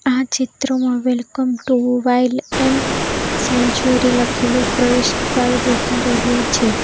આ ચિત્રમાં welcome to wild an sanctuary લખેલું પ્રવેશદ્વાર દેખાઈ રહ્યું છે.